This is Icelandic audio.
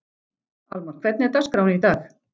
Almar, hvernig er dagskráin í dag?